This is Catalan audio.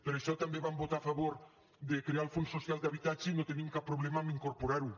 per això també vam votar a favor de crear el fons social d’habitatge i no tenim cap problema a incorporar ho